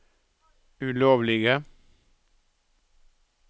ulovlige